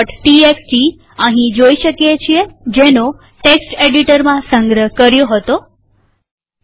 TXT જેનો text એડીટરમાં સંગ્રહ કર્યો હતો તે અહીં જોઈ શકીએ છીએ